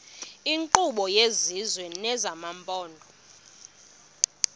iinkqubo zesizwe nezamaphondo